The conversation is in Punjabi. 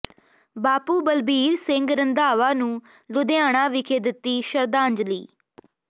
ਬਾਪੂ ਬਲਬੀਰ ਸਿੰਘ ਰੰਧਾਵਾ ਨੂੰ ਲੁਧਿਆਣਾ ਵਿਖੇ ਦਿੱਤੀ ਸ਼ਰਧਾਂਜਲੀ